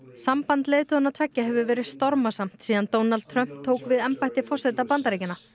samband leiðtoganna tveggja hefur verið stormasamt síðan Donald Trump tók við embætti forseta Bandaríkjanna